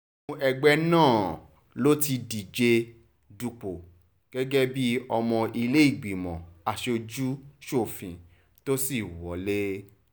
inú ẹgbẹ́ náà ló ti díje dupò gẹ́gẹ́ bíi ọmọ ìlẹ́lẹ́gbẹ́mọ aṣojú-sọ́fun tó sì wọ́lẹ̀